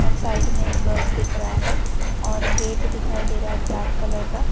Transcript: Side में एक bus दिख रहा है और गेट दिखाई दे रहा है ब्लैक कलर का।